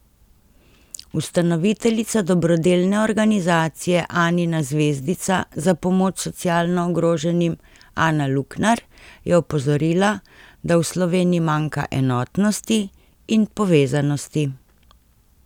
Ustanoviteljica dobrodelne organizacije Anina zvezdica za pomoč socialno ogroženim Ana Luknar je opozorila, da v Sloveniji manjka enotnosti in povezanosti.